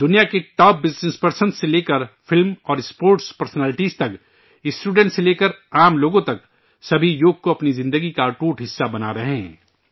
دنیا کے top business person سے لے کر فلم اور اسپورٹس پرسنیلٹیز تک ، اسٹوڈنٹ سے لے کر عام انسان تک ، سبھی یوگ کو اپنی زندگی کا اٹوٹ حصہ بنارہے ہیں